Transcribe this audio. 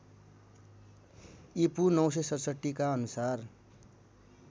ईपू ९६७ का अनुसार